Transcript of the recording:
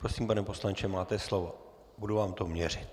Prosím, pane poslanče, máte slovo, budu vám to měřit.